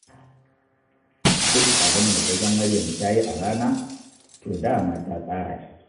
Duk abin da ka ga Maryam ta yi a rana, to da ma ta tsara shi